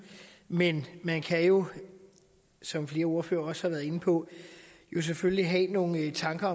men man kan jo som flere ordførere også har været inde på selvfølgelig have nogle tanker